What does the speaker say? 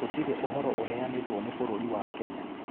Gũtirĩ ũvoro ũveanĩtwo nĩ vũrũri wa Kenya.